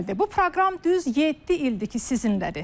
Bu proqram düz yeddi ildir ki, sizinlədir.